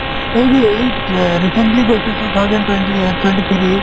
এই যে এই recently গৈছোঁ two thousand twenty এ twenty three